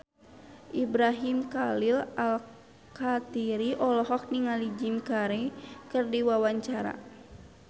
Ibrahim Khalil Alkatiri olohok ningali Jim Carey keur diwawancara